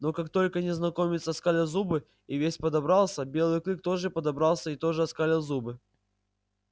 но как только незнакомец оскалил зубы и весь подобрался белый клык тоже подобрался и тоже оскалил зубы